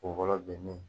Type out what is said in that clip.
Kun fɔlɔ bɛnnen